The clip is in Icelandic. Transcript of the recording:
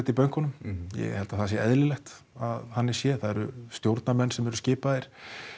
í bönkunum ég held að það sé eðlilegt að þannig sé það eru stjórnarmenn sem eru skipaðir